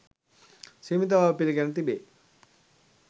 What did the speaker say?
සීමිත බව පිළිගෙන තිබේ.